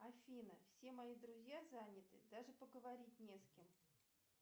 афина все мои друзья заняты даже поговорить не с кем